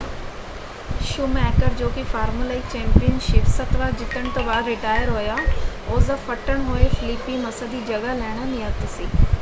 Schumacher ਜੋ ਕਿ formula 1 championship ਸੱਤ ਵਾਰ ਜਿੱਤਣ ਤੋਂ ਬਾਅਦ ਰਿਟਾਇਰ ਹੋਇਆ ਉਸ ਦਾ ਫੱਟੜ ਹੋਏ ਫਲੀਪੀ ਮੱਸਾ ਦੀ ਜਗ੍ਹਾ ਲੈਣਾ ਨਿਯਤ ਸੀ।